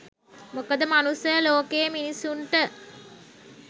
මොකද මනුස්ස ලෝකයේ මිනිස්සුන්ට